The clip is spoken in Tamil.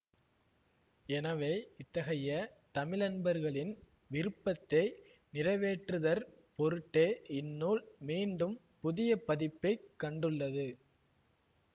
எனவே இத்தகைய தமிழன்பர்களின் விருப்பத்தை நிறைவேற்றுதற் பொருட்டே இந்நூல் மீண்டும் புதிய பதிப்பைக் கண்டுள்ளது